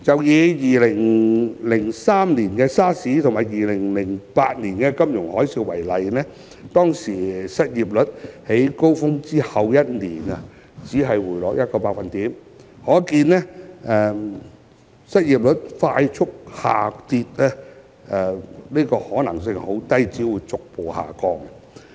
以2003年的 SARS 及2008年的金融海嘯為例，當時失業率在高峰後一年只回落約1個百分點，可見失業率快速下跌的可能性很低，只會逐步下降。